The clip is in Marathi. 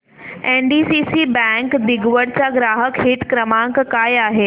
एनडीसीसी बँक दिघवड चा ग्राहक हित क्रमांक काय आहे